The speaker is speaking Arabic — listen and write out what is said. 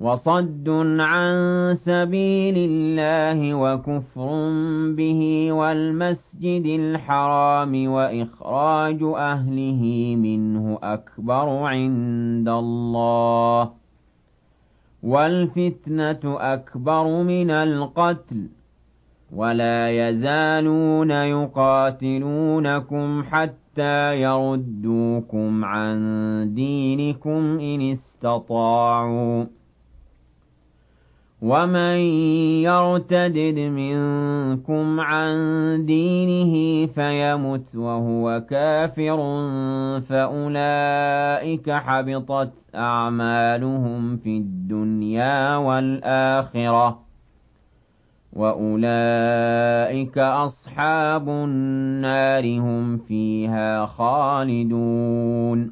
وَصَدٌّ عَن سَبِيلِ اللَّهِ وَكُفْرٌ بِهِ وَالْمَسْجِدِ الْحَرَامِ وَإِخْرَاجُ أَهْلِهِ مِنْهُ أَكْبَرُ عِندَ اللَّهِ ۚ وَالْفِتْنَةُ أَكْبَرُ مِنَ الْقَتْلِ ۗ وَلَا يَزَالُونَ يُقَاتِلُونَكُمْ حَتَّىٰ يَرُدُّوكُمْ عَن دِينِكُمْ إِنِ اسْتَطَاعُوا ۚ وَمَن يَرْتَدِدْ مِنكُمْ عَن دِينِهِ فَيَمُتْ وَهُوَ كَافِرٌ فَأُولَٰئِكَ حَبِطَتْ أَعْمَالُهُمْ فِي الدُّنْيَا وَالْآخِرَةِ ۖ وَأُولَٰئِكَ أَصْحَابُ النَّارِ ۖ هُمْ فِيهَا خَالِدُونَ